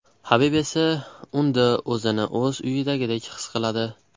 Habib esa unda o‘zini o‘z uyidagidek his qiladi.